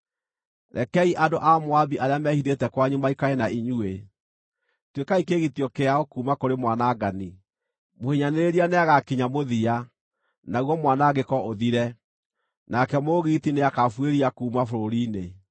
Rekei andũ a Moabi arĩa mehithĩte kwanyu maikare na inyuĩ; tuĩkai kĩĩgitio kĩao kuuma kũrĩ mwanangani.” Mũhinyanĩrĩria nĩagakinya mũthia, naguo mwanangĩko ũthire; nake mũũgiti nĩakabuĩria kuuma bũrũri-inĩ.